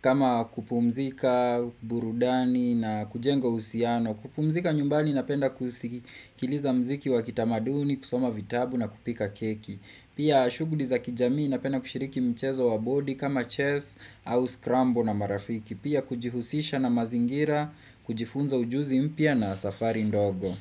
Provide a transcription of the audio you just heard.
kama kupumzika burudani na kujenga uhusiano. Kupumzika nyumbani napenda kusikiliza mziki wa kitamaduni, kusoma vitabu na kupika keki. Pia shughuli za kijamii napenda kushiriki mchezo wa bodi kama chess au scramble na marafiki. Pia kujihusisha na mazingira, kujifunza ujuzi mpia na safari ndogo.